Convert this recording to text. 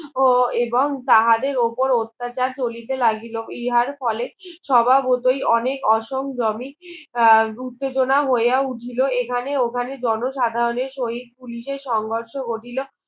ও এবং তাহাদের ওপর অত্যাচার চলিতে লাগিল ইহার ফলে সবাবতোই অনেক অসংগামী আহ উত্তেজনা হইয়া উঠিল এখানে ওখানে জন সাধারণের সহিত পুলিশের সংঘর্ষ ঘটিল